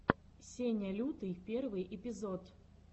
сеня лютый первый эпизод